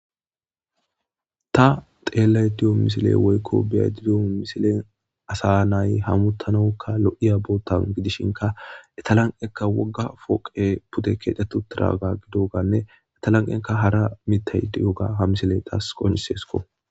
Ta xeellay diyo misile woykko biya didon misilen asa nay hamutanokka loi'ya bootan gidishinka etalanqekka wogga fooqe pude keedetu tiraaga gidoganne etalanqenka hara mitey di'oga ha misile taas qonisesko.